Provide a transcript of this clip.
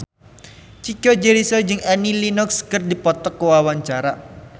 Chico Jericho jeung Annie Lenox keur dipoto ku wartawan